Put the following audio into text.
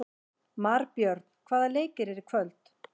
Marbjörn, hvaða leikir eru í kvöld?